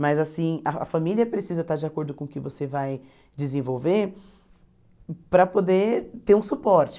Mas assim, a família precisa estar de acordo com o que você vai desenvolver para poder ter um suporte.